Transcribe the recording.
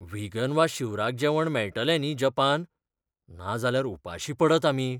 Vegan वा शिवराक जेवण मेळटलें न्ही जपान? नाजाल्यार उपाशीं पडत आमी!